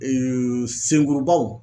senkurubaw